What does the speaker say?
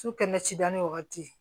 Su kɛnɛcida ni wagati